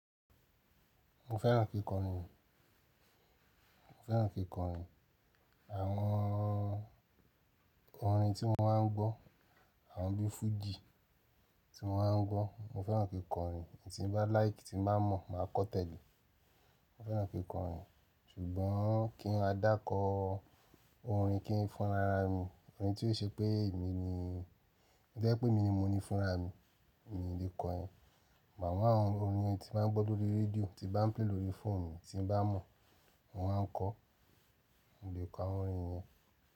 Mo fẹ́ràn kí ń kọrin. Mo fẹ́ràn kí ń kọrin. Àwọn orin tí mo máa ń gbọ́, àwọn bíi fújì tí mo máa ń gbọ́. Mo fẹ́ràn kí ń kọrin. Èyí tí n bá like, tí n bá mọ̀, máa kọ́ tẹ́lẹ̀. Mo fẹ́ràn kí ń kọrin ṣùgbọ́n kí n má dà kọ orin, kí n fúnra ara mi. Orin tí yíò ṣe pé èmi ni, tí ó jẹ́ pé mi ni mo ni fúnra mi, èmi ni lè kọ ẹ. Màámù àwọn orin ẹni tí n máa gbọ́ lóri rédíò, tí n bá pléè lóri fóònù mi, tí n bá mọ̀, mo máa ń kọ. Mo lè kọ'wwọ́n orin yẹn.